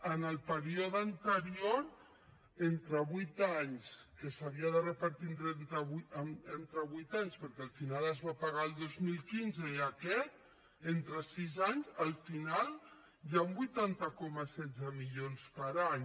en el període anterior entre vuit anys que s’havia de repartir entre vuit anys perquè al final es va pagar el dos mil quinze i aquest entre sis anys al final hi han vuitanta coma setze milions per any